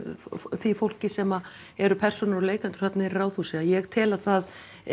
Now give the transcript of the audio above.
því fólki sem eru persónur og leikendur þarna niðri í Ráðhúsi að ég tel að það